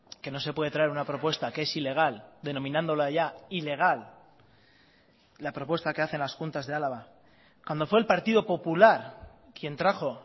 que no se puede traer una propuesta que es ilegal denominándola ya ilegal la propuesta que hacen las juntas de álava cuando fue el partido popular quien trajo